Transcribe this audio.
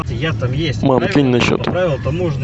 мам кинь на счет